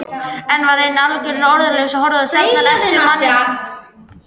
Ég var enn algjörlega orðlaus og horfði stjarfur á eftir manninum sem fjarlægðist óðum.